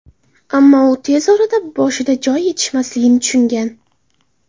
Ammo u tez orada boshida joy yetmasligini tushungan.